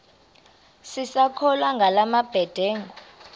sisakholwa ngala mabedengu